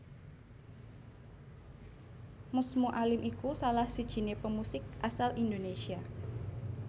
Mus Mualim iku salah sijiné pemusik asal Indonesia